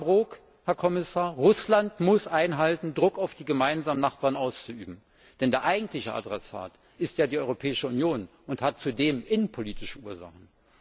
Ja, Herr Brok, Herr Kommissar, Russland muss einhalten, Druck auf die gemeinsamen Nachbarn auszuüben, denn der eigentliche Adressat ist ja die Europäische Union, und der Druck hat zudem innenpolitische Ursachen!